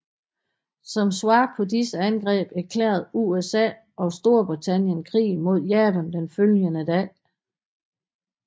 Som svar på disse angreb erklærede USA og Storbritannien krig mod Japan den følgende dag